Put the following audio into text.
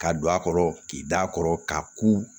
Ka don a kɔrɔ k'i da kɔrɔ ka ku